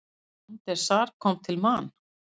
Van der Sar kom til Man.